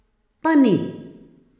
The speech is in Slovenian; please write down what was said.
Pa ni!